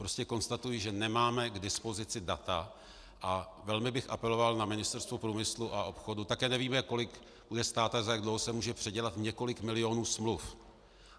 Prostě konstatuji, že nemáme k dispozici data, a velmi bych apeloval na Ministerstvo průmyslu a obchodu - také nevíme, kolik bude stát a za jak dlouho se může předělat několik milionů smluv.